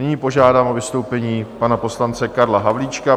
Nyní požádám o vystoupení pana poslance Karla Havlíčka.